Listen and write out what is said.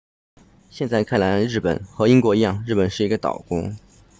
现在来看日本和英国一样日本是一个岛国